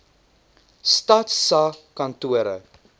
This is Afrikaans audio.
stats sa kantore